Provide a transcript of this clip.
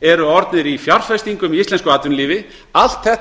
eru orðnir í íslensku atvinnulífi allt þetta